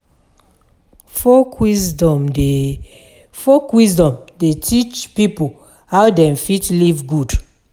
Folk wisdom dey teach pipo how dem fit live good.